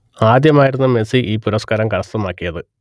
ആദ്യമായായിരുന്നു Messi ഈ പുരസ്കാരം കരസ്ഥമാക്കിയത്